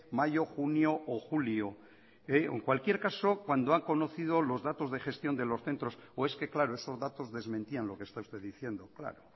mayo junio o julio o en cualquier caso cuando ha conocido los datos de gestión de los centros o es que claro esos datos desmentían lo que está usted diciendo claro